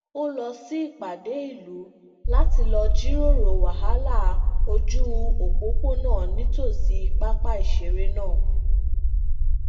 ó lọ sí ìpàdé ìlú láti lọ jíròrò wahala oju opopona nítòsí pápá ìṣeré náà